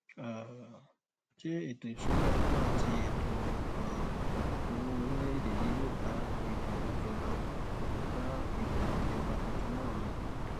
um ṣé ètò ìṣúnná owó àti ètò um owó orílẹèdè yìí yóò bá ìbò ìjọba bá ìbò ìjọba tuntun náà mu